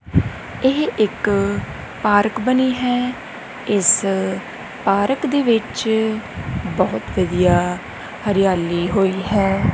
ਇਹ ਇੱਕ ਪਾਰਕ ਬਣੀ ਹੈ ਇਸ ਪਾਰਕ ਦੇ ਵਿੱਚ ਬਹੁਤ ਵਧੀਆ ਹਰਿਆਲੀ ਹੋਈ ਹੈ।